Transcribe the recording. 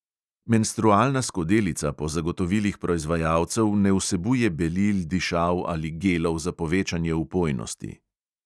Menstrualna skodelica po zagotovilih proizvajalcev ne vsebuje belil, dišav ali gelov za povečanje vpojnosti.